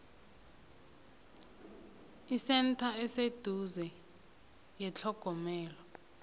isentha eseduze yethlogomelo